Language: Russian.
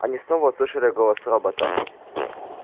они снова услышали голос робота